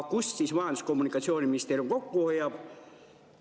Kust siis Majandus- ja Kommunikatsiooniministeerium kokku hoiab?